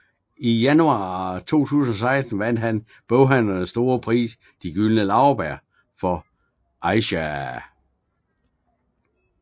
I januar 2016 vandt han boghandlernes store pris De gyldne laurbær for Aisha